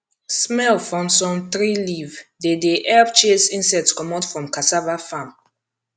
smell from some tree leaf dey dey help chase insects comot from cassava farm